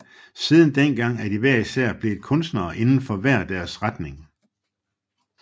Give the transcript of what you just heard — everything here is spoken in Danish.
Siden dengang er de hver især blevet kunstnere inden for hver deres retning